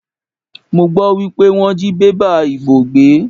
Mo gbọ́ wípé wọ́n jí bébà ìbò gbé.